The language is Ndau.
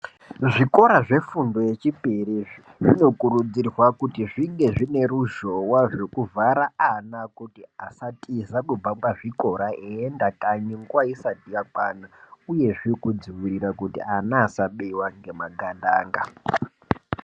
Zvikora zve fundo ye chipiri izvi zvino kurudzirwa kuti zvinge zvine ruzhowa zveku vhara ana kuti asatiza kubva pa zvikora eyi enda kanyi nguva isati yakwana uyezve kudzivirira kuti ana asa biwa nge makandanga.